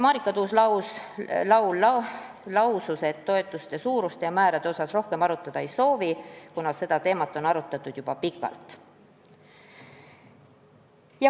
Marika Tuus-Laul lausus, et toetuste suuruste ja määrade üle rohkem diskuteerida ei soovita, kuna seda teemat on arutatud juba pikalt.